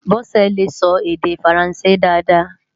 Bose lé sò èdè Fáránsé dàáda